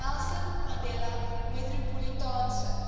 nelson mandela metropolitaanse